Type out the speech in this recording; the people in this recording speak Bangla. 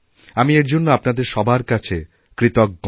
আমি এর জন্য আপনাদের সবার কাছে কৃতজ্ঞ